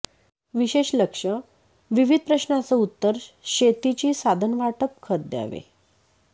विशेष लक्ष विविध प्रश्नाचं उत्तर शेतीची साधन वाटप खत द्यावे